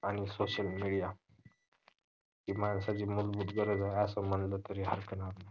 आणि social media ही माणसाची मूलभूत गरज आहे असा म्हंटलं तरी हरकत नाही